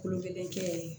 Kolon kelen kɛ ye